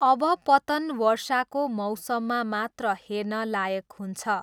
अब पतन वर्षाको मौसममा मात्र हेर्न लायक हुन्छ।